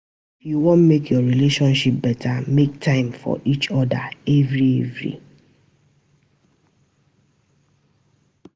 If yu wan mek your relationship beta, mek time for each oda evri evri.